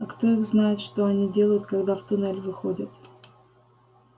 а кто их знает что они делают когда в туннель выходят